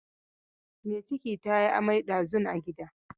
Mai ciki ta yi amai ɗazun a gida.